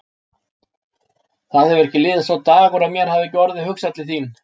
Það hefur ekki liðið sá dagur að mér hafi ekki orðið hugsað til þín.